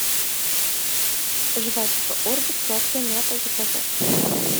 жвачка орбит сладкая мята заказать